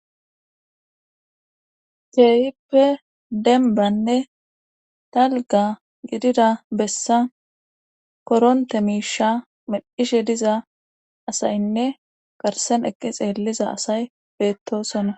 Teehippe denbanne talga gidida bessa koronte miisha meddhishe diza asaynne garsen eqqi xeelliza asay beettosona